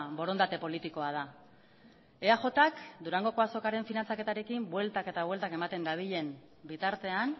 borondate politikoa da eajk durangoko azokaren finantzaketarekin bueltak eta bueltak ematen dabilen bitartean